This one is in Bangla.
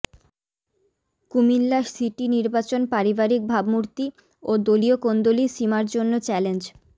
কুমিল্লা সিটি নির্বাচন পারিবারিক ভাবমূর্তি ও দলীয় কোন্দলই সীমার জন্য চ্যালেঞ্জ